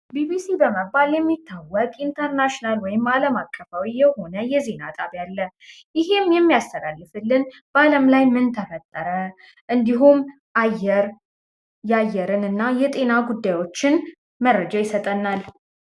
ቢቢሲ በመባል የሚታወቅ ኢንተርናሽናል ወይም አለም አቀፋዊ የሆነ የዜና ጣቢያ አለ። ይሄም የሚያስተላልፍልን በአለም ላይ ምን ተፈጠረ፣ የአየር እና የጤና ጉዳዮችን መረጃ ይሰጠናል።